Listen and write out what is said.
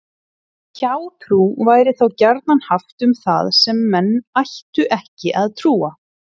Hjátrú væri þá gjarnan haft um það sem menn ættu ekki að trúa.